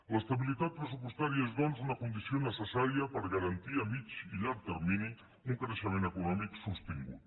l’estabilitat pressupostària és doncs una condició necessària per garantir a mitjà i llarg termini un creixement econòmic sostingut